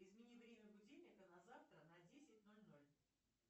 измени время будильника на завтра на десять ноль ноль